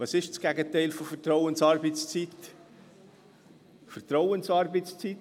Was ist das Gegenteil von Vertrauensarbeitszeit?